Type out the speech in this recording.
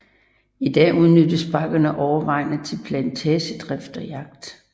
I dag udnyttes bakkerne overvejende til plantagedrift og jagt